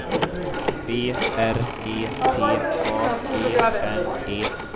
B R E T A G N E